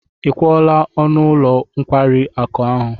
Ị kwụọla ọnụ ụlọ nkwari akụ ahụ?